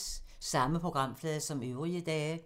Samme programflade som øvrige dage